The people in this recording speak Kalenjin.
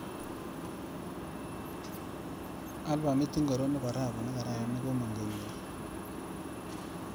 Albamit ingoro nebo rapu nekararan nekomang kenyindo?